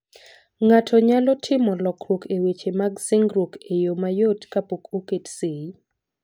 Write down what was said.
Ng'ato nyalo timo lokruok e weche mag singruok e yo mayot kapok oket sei.